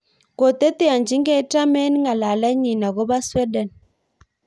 Koteteanchigei Trump eng ng'alalenyi akobo Sweden